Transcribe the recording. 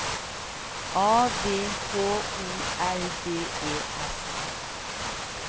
A V H O L D E S